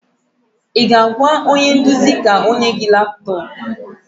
Ị ga-agwa onye nduzi ka o nye gị laptọọpụ?